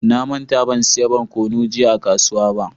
Na manta ban siya barkonu jiya a kasuwa ba.